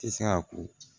Tɛ se ka ko